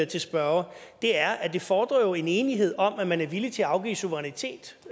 til spørgeren er at det jo fordrer en enighed om at man er villig til at afgive suverænitet